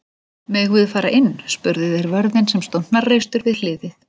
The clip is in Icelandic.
Megum við fara inn? spurðu þeir vörðinn sem stóð hnarreistur við hliðið.